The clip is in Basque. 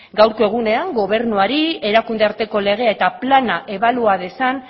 gaurko egunean gobernuari erakunde arteko legea eta plana ebalua dezan